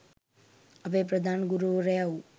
අපේ ප්‍රධාන ගුරුවරයා වූ